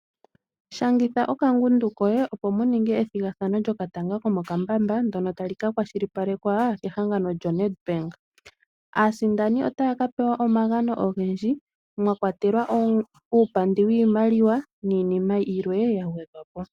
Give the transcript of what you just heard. Shangitha okangundu koye opo mu ninge ethigathano lyokatanga komokambamba ndono tali ka kwashilipalekwa kehangano lyoNEDBANK. Aasindani otaya ka pewa omagano ogendji mwa kwatelwa uupandi wiimaliwa niinima yilwe ya gwedhwa po.